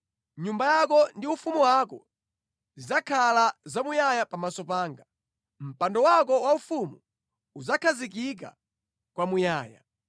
Nyumba yako ndi ufumu wako zidzakhala zamuyaya pamaso panga. Mpando wako waufumu udzakhazikika kwamuyaya!’ ”